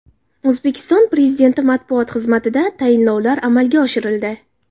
O‘zbekiston Prezidenti matbuot xizmatida tayinlovlar amalga oshirildi .